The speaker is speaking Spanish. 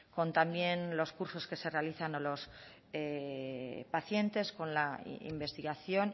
también con los cursos que se realizan a los pacientes con la investigación